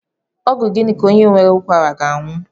Ọgwụ gịnị ka onye nwere ụkwara ga-aṅụ?